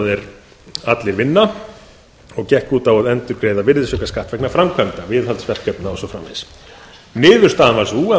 er allir vinna og gekk út á að endurgreiða virðisaukaskatt vegna framkvæmda viðhaldsverkefna og svo framvegis niðurstaðan varð sú að